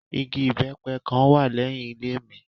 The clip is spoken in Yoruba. Ìgi ibẹ́pẹ kan wa lẹhin ile mi